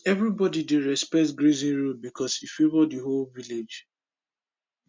everybody dey respect grazing rules because e favour the whole village